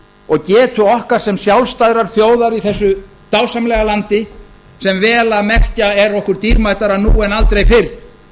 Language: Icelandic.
og getu okkar sem sjálfstæðrar þjóðar í þessu dásamlega landi sem vel að merkja er okkur dýrmætara nú en aldrei